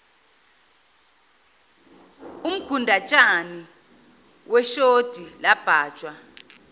umgundatshani weshodi labhajwa